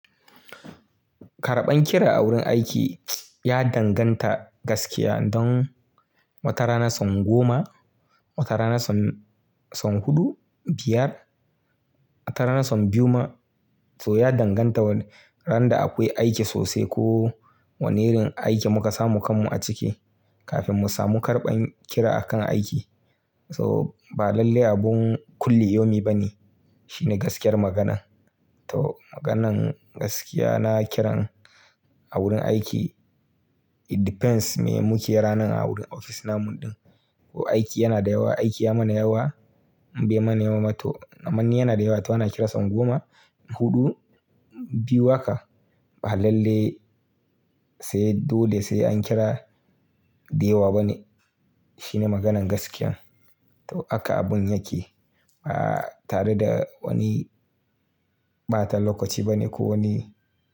Karɓan kira a wurin aiki ya danganta gaskiya don wata ranar son goma, wata ranar son, son huɗu, biyar, wata ranar son biyu ma. So ya danganta ran da akwai aiki sosai ko wane irin aiki muka samu kanmu a ciki kafin mu samu karɓan kira akan aiki. So ba lalle abun kulli yomi ba ne. Shine gaskiyar maganan. To maganan gaskiya na kiran a wurin aiki it depends me muke ranan a wurin ofis namu ɗin. Ko aiki yana da yawa, aiki ya mana yawa, bai mana yawa ma to. Mani yana da yawa to ana kirason goma, huɗu, biyu haka. Ba lalle sai dole sai an kira da yawa ba ne. Shine maganan gaskiya. To haka abun yake. A'a tare da wani ɓatan lokaci ba ne ko wani.